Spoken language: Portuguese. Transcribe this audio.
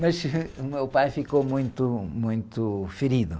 Mas, o meu pai ficou muito, muito ferido.